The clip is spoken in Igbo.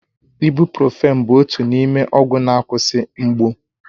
Ibụ́profị́n bụ otu n'ime ọgwụ na-akwụsị mgbu.